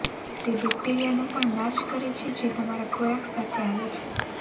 તે બેક્ટેરિયાનો પણ નાશ કરે છે જે તમારા ખોરાક સાથે આવે છે